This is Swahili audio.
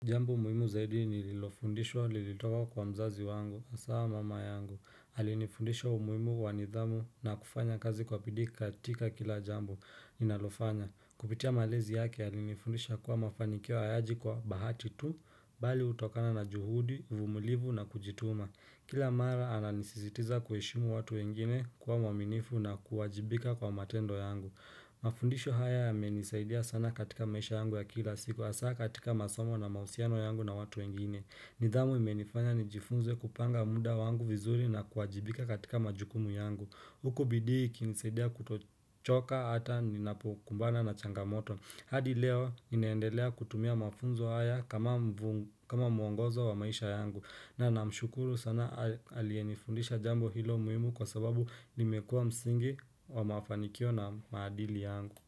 Jambo muhimu zaidi nililofundishwa lilitoka kwa mzazi wangu, hasa mama yangu. Alinifundisha umuhimu wanidhamu na kufanya kazi kwa bidhii katika kila jambo ninalofanya. Kupitia malezi yake alinifundisha kuwa mafanikio hayaji kwa bahati tu, bali hutokana na juhudi, vumulivu na kujituma. Kila mara ananisisitiza kuheshimu watu wengine kuwa mwaminifu na kuwajibika kwa matendo yangu. Mafundisho haya ya menisaidia sana katika maisha yangu ya kila siku hasa katika masomo na mahusiano yangu na watu wengine. Nidhamu imenifanya nijifunze kupanga muda wangu vizuri na kuwajibika katika majukumu yangu. Huku bidhii ikinisaidia kutochoka hata ninapokumbana na changamoto. Hadi leo ninaendelea kutumia mafunzo haya kama kama mwongozo wa maisha yangu. Na nina mshukuru sana aliye nifundisha jambo hilo muhimu kwa sababu nimekua msingi wa mafanikio na maadili yangu.